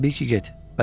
Təbii ki, get.